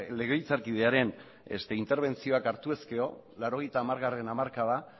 legebiltzarkidearen interbentzioak hartu ezkero laurogeita hamargarrena hamarkada